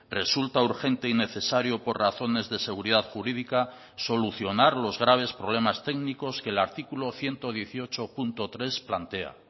resulta urgente y necesario por razones de seguridad jurídica solucionar los graves problemas técnicos que el artículo ciento dieciocho punto tres plantea